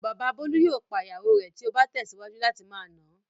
Bàbá Bólú yóò pa ìyàwó rẹ̀ tí ó bá tẹ̀síwájú láti máa nà á.